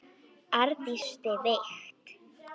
Arndís brosir veikt.